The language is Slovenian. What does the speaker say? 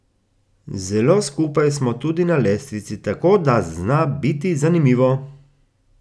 Zelo skupaj smo tudi na lestvici, tako da zna biti zanimivo.